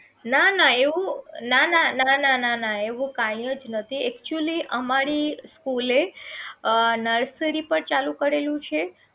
નાના એવું નાના નાના એવું કાંઈ જ નથી actually અમારી school એ અ nersery પણ ચાલુ કરેલું છે